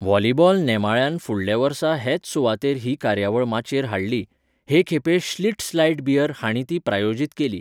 Volleyball नेमाळ्यान फुडल्या वर्सा हेच सुवातेर ही कार्यावळ माचयेर हाडली, हे खेपे श्लिट्झ लायट बियर हांणी ती प्रायोजीत केली.